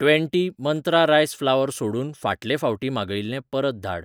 Twenty मंत्रा rice flower सोडून फाटले फावटी मागयिल्लें परत धाड.